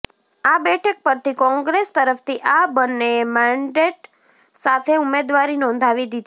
આ બેઠક પરથી કોંગ્રેસ તરફથી આ બંનેએ મેન્ડેટ સાથે ઉમદેવારી નોંધાવી દીધી છે